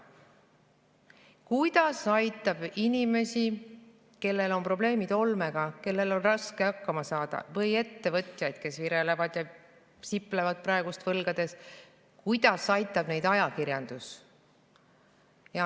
Kuidas aitab inimesi, kellel on olmeprobleemid ja kellel on raske hakkama saada, või ettevõtjaid, kes virelevad ja siplevad võlgades, ajakirjandus?